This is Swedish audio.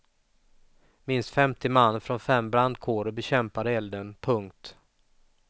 Minst femtio man från fem brandkårer bekämpade elden. punkt